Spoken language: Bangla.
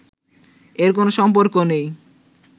এর কোন সম্পর্ক নেই